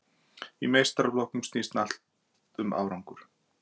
Í meistaraflokkum snýst allt um árangur.